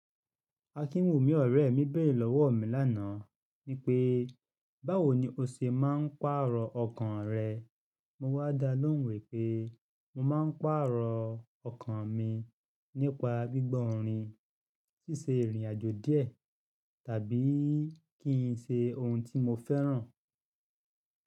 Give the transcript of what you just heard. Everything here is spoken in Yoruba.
Akinwunmi ọ̀rẹ́ mi bẹ̀rẹ̀ lọ́wọ́ mi lánàá wipé, báwo ni o ṣe máa ń pààrọ̀ ọkàn rẹ? Mo wá dá lóhùn wípé mo máa ń pààrọ̀ ọkàn mi nípa gbígbọ́ orin, ṣíṣe ìrìnàjò díẹ̀ tàbí kí n ṣe ohun tí mo fẹ́ràn.